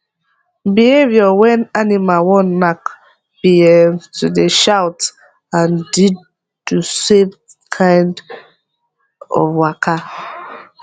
behaviour wen animal wan knack be um to dey shout and the do same kind of waka